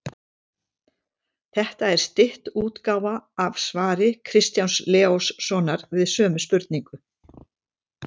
Þetta er stytt útgáfa af svari Kristjáns Leóssonar við sömu spurningu.